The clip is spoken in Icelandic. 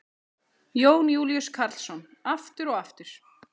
Jón Júlíus Karlsson: Aftur og aftur?